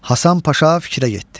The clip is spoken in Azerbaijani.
Hasan Paşa fikrə getdi.